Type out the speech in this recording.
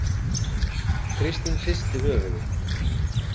Kristín hristi höfuðið.